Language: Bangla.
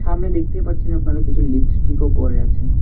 সামনে দেখতে পারছেন আপনারা কিছু লিপস্টিক -ও পড়ে আছে।